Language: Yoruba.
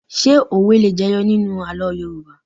Ṣé òwe le jẹyọ nínú àlọ́ Yorùbá?